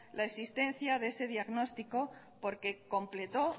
la existencia de ese diagnóstico porque completó